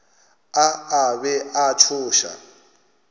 a a be a tšhoša